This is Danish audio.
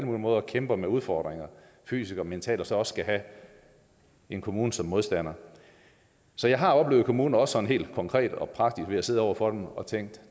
måder kæmper med udfordringer fysisk og mentalt så også skal have en kommune som modstander så jeg har oplevet kommuner også sådan helt konkret og praktisk ved at sidde over for dem og tænke